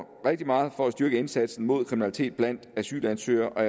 rigtig meget for at styrke indsatsen mod kriminalitet blandt asylansøgere og